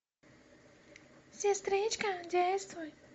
сестричка действуй